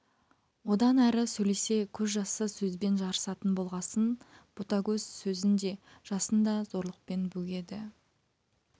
одан әрі сөйлесе көз жасы сөзбен жарысатын болғасын ботагөз сөзін де жасын да зорлықпен бөгеді